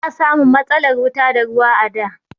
Ba a samun matsalar wuta da ruwa a da.